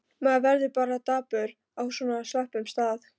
Maður verður bara dapur á svona slöppum stað.